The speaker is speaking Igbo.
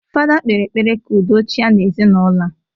Fada kpere ekpere ka udo chia n'ezinaụlọ a